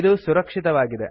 ಇದು ಸುರಕ್ಷಿತವಾಗಿದೆ